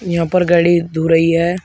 यहां पर गाड़ी धो रही है।